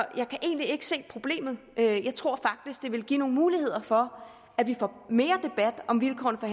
jeg kan egentlig ikke se problemet jeg tror faktisk det vil give nogle muligheder for at vi får mere debat om vilkårene for